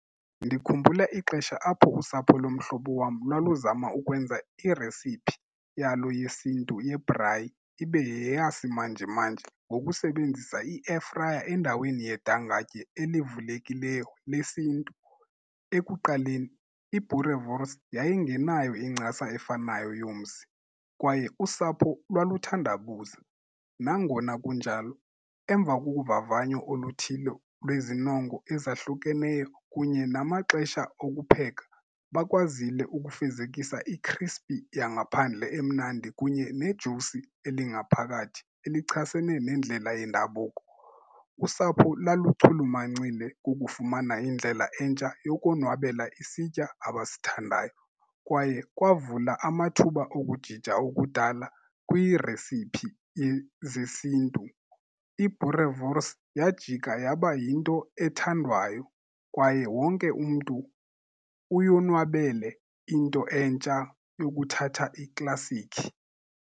Ndikhumbula ixesha apho usapho lomhlobo wam lwaluzama ukwenza iresiphi yalo yesiNtu yebhrayi ibe yeyasimanje manje ngokusebenzisa i-airfryer endaweni yedangatye elivulekileyo lesiNtu. Ekuqaleni i-boerewors yayingenayo incasa efanayo yomsi kwaye usapho lwaluthandabuza. Nangona kunjalo, emva kokuvavanyo oluthile lwezinongo ezahlukeneyo kunye namaxesha okupheka bakwazile ukufezekisa i-crispy yangaphandle emnandi kunye nejusi elingaphakathi elichasene nendlela yendabuko. Usapho laluchulumancile kukufumana indlela entsha yokonwabela isitya abasithandayo kwaye kwavula amathuba okujija okudala kwiiresiphi zesiNtu. I-boerewors yajika yaba yinto ethandwayo kwaye wonke umntu uyonwabele into entsha yokuthatha iklasikhi.